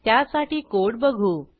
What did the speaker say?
त्यासाठी कोड बघू